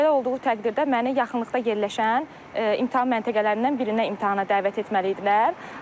Belə olduğu təqdirdə məni yaxınlıqda yerləşən imtahan məntəqələrindən birinə imtahana dəvət etməliydilər.